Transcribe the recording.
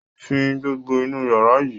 Fín gbogbo inú yàrá yìí!